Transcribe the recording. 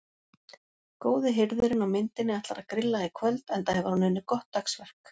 Góði hirðirinn á myndinni ætlar að grilla í kvöld enda hefur hann unnið gott dagsverk.